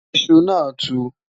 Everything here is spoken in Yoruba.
iṣù nà tú